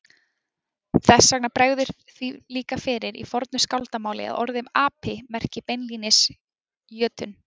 Þess vegna bregður því líka fyrir í fornu skáldamáli að orðið api merki beinlínis jötunn.